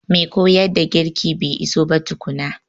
Mai koyar da girki bai iso ba tukuna.